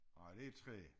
Ej det træ